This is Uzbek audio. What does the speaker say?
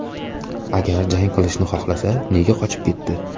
Agar jang qilishni xohlasa, nega qochib ketdi?